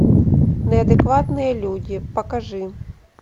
неадекватные люди покажи